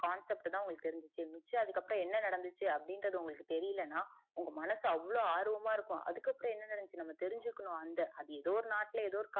concept தா உங்களுக்கு தெரிஞ்சிது மிச்ச அதுக்கு அப்புறம் என்ன நடந்துச்சி அப்டின்றது உங்களுக்கு தெரியலனா உங்க மனசு அவ்ளோ ஆர்வமா இருக்கும் அதுக்கு அப்புறம் என்ன நடந்துச்சின்னு நம்ம தெரிஞ்சிக்கணும் அந்த அது எதோ ஒரு நாட்டுல எதோ ஒரு காட்டுல நடந்துருக்கும்